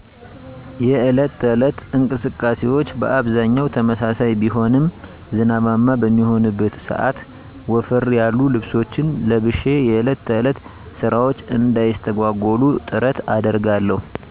የዕለት ተዕለት እንቅስቃሴወቸ በአብዛኛው ተመሳሳይ ቢሆንም ዝናባማ በሚሆንበት ሰዐት ወፈር ያሉ ልብሶችን ለብሸ የዕለት ተዕለት ስራወቸ እንዳይስተጓጎሉ ጥረት አደርጋለሁ።